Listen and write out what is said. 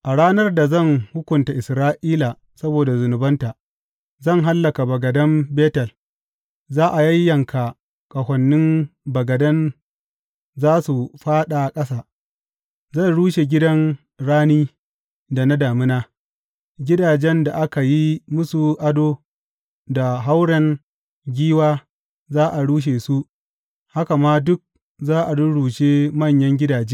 A ranar da zan hukunta Isra’ila saboda zunubanta, zan hallaka bagadan Betel; za a yayyanka ƙahonin bagadan za su fāɗa ƙasa Zan rushe gidan rani da na damina; gidajen da aka yi musu ado da hauren giwa za a rushe su haka ma duk za a rurrushe manyan gidaje,